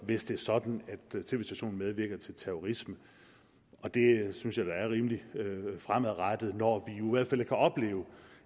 hvis det er sådan at en tv station medvirker til terrorisme det synes jeg da er rimelig fremadrettet når vi kan opleve